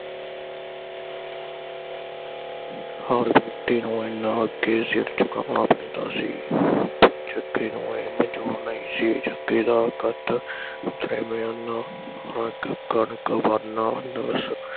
ਹਰ ਵਿਅਕਤੀ ਨੂੰ ਇਨ੍ਹਾਂ ਅੱਗੇ ਸਿਰ ਝੁਕਾਉਣ ਪੈਂਦਾ ਸੀ ਤੇ ਜੱਗੇ ਨੂੰ ਇਹ ਮੰਜੂਰ ਨਹੀਂ ਸੀ ਜੱਗੇ ਦਾ ਕਦ ਬਿਆਨਾ, ਕਣਕ ਭਰਨਾ